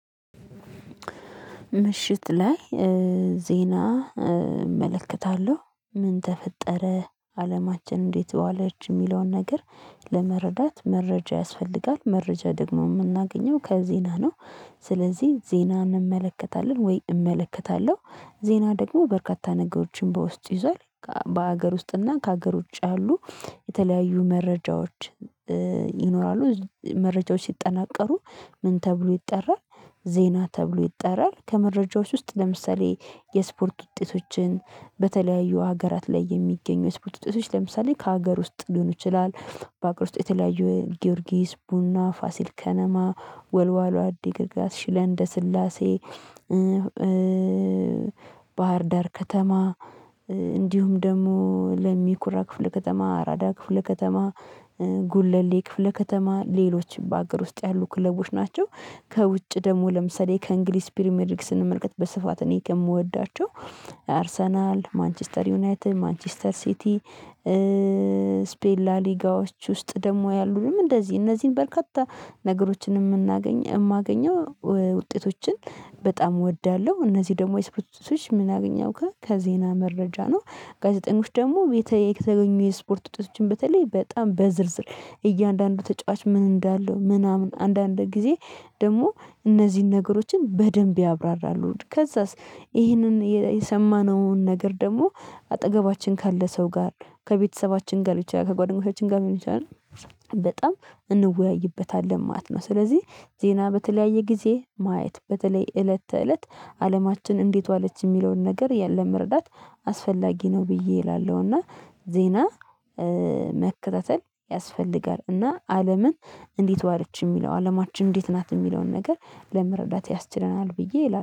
ምሽት ላይ ዜና እመለከታለሁ ምን ተፈጠረ አለማችን እንዴት ዋለች የሚለውን ነገር ለመረዳት መረጃ ያስፈልጋል። መረጃ ደግሞ የምናገኘው ከዜና ነው። ስለዚህ ዜናን እንመለከታለን ወይም እመለከታለሁ ዜና ደግሞ በርካታ ነገሮችን በውስጥ ይዟል። በሀገር ውስጥ እና ከሀገር ውጪ ያሉ የተለያዩ መረጃዎች ይኖራሉ። መረጃዎች ሲጠናቀሩ ምን ተብሎ ይጠራል? ዜና ተብሎ ይጠራል። ከመረጃዎች ውስጥ ለምሳሌ የስፖርት ውጤቶችን በተለያዩ ሀገራት ላይ የሚገኙ ስፖርት ውጤቶች ለምሳሌ ከሀገር ውስጥ ሊሆኑ ይችላል። በሀገር ውስጥ የተለያዩ ጊዮርጊስ ቡና ፋሲል ከነማ ወልዋሎ አዲግራት ሽረእንደ ስላሴ ባህር ዳር ከተማ እንዲሁም ደግሞ ለሚኩራ ክፍለ ከተማ አራዳ ክፍለ ከተማ ጉለሌ ክፍለ ከተማ ሌሎች በአገር ውስጥ ያሉ ክለቦች ናቸው። ከውጭ ደግሞ ለምሳሌ ከእንግሊዝ ፕሪሚየር ሊግ ስንመለከት በስፋት እኔ ከምወዳቸው አርሰናል ማንችስተር ዩናይትድ ማንችስተር ሲቲ ስፔን ላሊጋዎች ውስጥ ደግሞ ያሉትም እንደዚህ እነዚህን በርካታ ነገሮችን የማገኘው ውጤቶችን በጣም እወዳለሁ። እነዚህ ደግሞ የስፖርቶች ምናገኘው ከዜና መረጃ ነው። ጋዜጠኞች ደግሞ ሁኔታዊ ከተገኙ የስፖርት ውጤቶችን በተለይ በጣም በዝርዝር እያንዳንዱ ተጫዋች ምን እንዳለው ምናምን አንዳንድ ጊዜ ደግሞ እነዚህን ነገሮችን በደንብ ያብራራሉ። ከዛስ ይሄንን የሰማነውን ነገር ደግሞ አጠገባችን ካለ ሰው ጋር ከቤተሰባችን ጋር ሊሆን የችላል ከጓደኞቻችን ጋር ሊሆን ይችላል። በጣም እንወያይበታለን ማለት ነው። ስለዚህ ዜና በተለያየ ጊዜ ማየት በተለይ እለተ እለት አለማችን እንዴት ዋለች የሚለውን ነገር ያለ መረዳት አስፈላጊ ነው ብዬ እላለሁ። እና ዜና መከተተል ያስፈልጋል። እና አለምን እንዴት ዋለች የሚለው አለማችን እንዴት ናት የሚለውን ነገር ለመረዳት ያስችለናል። ብዬ